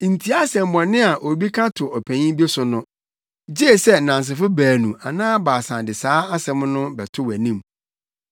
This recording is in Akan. Ntie asɛmmɔne a obi ka to ɔpanyin bi so no, gye sɛ nnansefo baanu anaa baasa de saa asɛm no bɛto wʼanim.